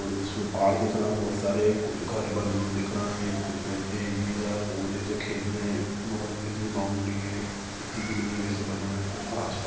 और ये इसमें पहाड़ दिख रहा हैं बहुत सारे कुछ घर बने हुए दिख रहे हैं कुछ गड्ढे हैं इधर और जैसे खेत मे वो बने होते हैं बॉउंड्री हैं खेती के लिए वैसे बने हुए हैं कुछ घास--